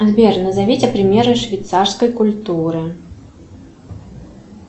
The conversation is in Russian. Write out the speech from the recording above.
сбер назовите примеры швейцарской культуры